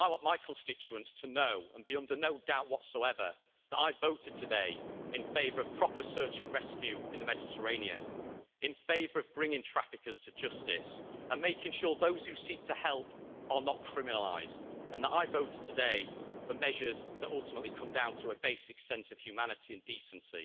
So I want my constituents to know, and be under no doubt whatsoever, that I voted today in favour of proper search and rescue in the Mediterranean, in favour of bringing traffickers to justice and making sure those who seek to help are not criminalised, and that I voted today for measures that ultimately come down to a basic sense of humanity and decency.